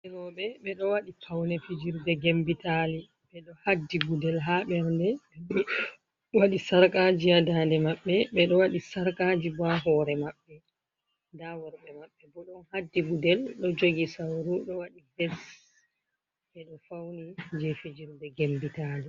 Yimoɓe ɓe ɗo waɗi pawne fijirde gembitali ɓe ɗo haddi gudel haa ɓernde. Rowɓe waɗi sarkaaji a daande maɓɓe, ɓe ɗo waɗi sarkaaji haa hoore maɓɓe. Nda worɓe maɓɓe bo, ɗon haddi gudel ,ɗo jogi sawru ɗo waɗi bes ɓe ɗo fawni jey fijirde gembitali.